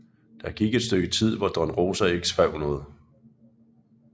Der gik et stykke tid hvor Don Rosa ikke skrev noget